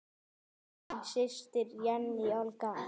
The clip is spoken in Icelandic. Þín systir, Jenný Olga.